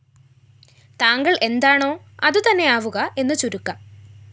താങ്കള്‍ എന്താണോ അതുതന്നെ ആവുക എന്നുചുരുക്കം